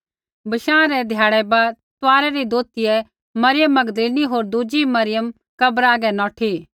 बशाँ रै ध्याड़ै बाद तुआरै री दोतियै मरियम मगदलीनी होर दुज़ी मरियम कब्रा हागै नौठी